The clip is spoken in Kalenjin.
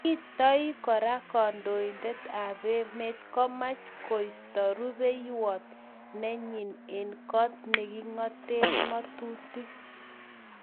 Kitoi kora kandoindet ab emet komach koisto rubeiywot nenyi engg kot nekingate ngatutik.